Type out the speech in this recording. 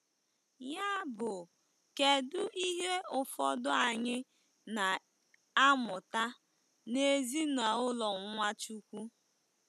Yabụ kedu ihe ụfọdụ anyị na-amụta n'ezinaụlọ Nwachukwu?